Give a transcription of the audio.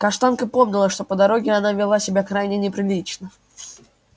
каштанка помнила что по дороге она вела себя крайне неприлично